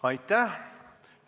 Aitäh!